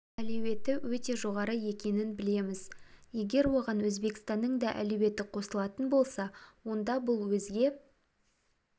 әлеуеті өте жоғары екенін білеміз егер оған өзбекстанның да әлеуеті қосылатын болса онда бұл өзге